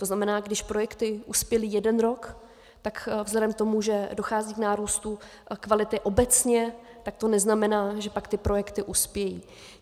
To znamená, když projekty uspěly jeden rok, tak vzhledem k tomu, že dochází k nárůstu kvality obecně, tak to neznamená, že pak ty projekty uspějí.